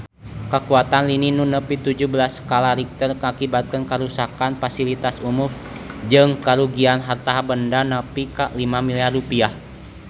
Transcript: Kakuatan lini nu nepi tujuh belas skala Richter ngakibatkeun karuksakan pasilitas umum jeung karugian harta banda nepi ka 5 miliar rupiah